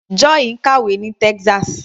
Joy ń kàwé ní Texas.